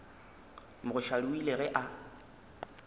mogoshadi o ile ge a